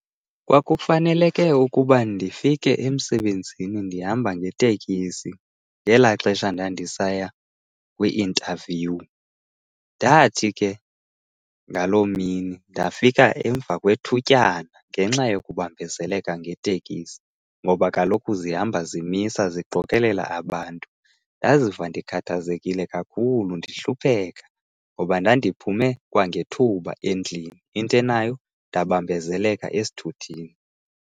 Kwakufaneleke ukuba ndifike emsebenzini ndihamba ngetekisi ngelaa xesha ndandisaya kwi-interview. Ndathi ke ngaloo mini ndafika emva kwethutyana ngenxa yokubambezeleka ngetekisi ngoba kaloku zihamba zimisa ziqokelela abantu. Ndaziva ndikhathazekile kakhulu ndihlupheka ngoba ndandiphume kwangethuba endlini into enayo ndabambezeleka esithuthini.